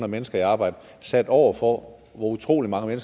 mennesker i arbejde sat over for hvor utrolig mange